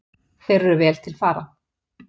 Þeir eru vel til fara.